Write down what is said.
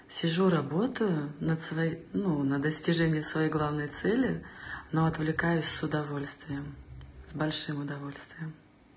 сижу работаю над своей ну на достижение своей главной цели но отвлекаюсь с удовольствием с большим удовольствием